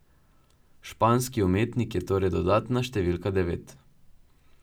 Španski umetnik je torej dodatna številka devet.